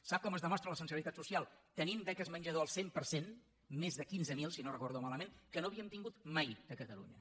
sap com es demostra la sensibilitat social tenint beques menjador al cent per cent més de quinze mil si no ho recordo malament que no havíem tingut mai a catalunya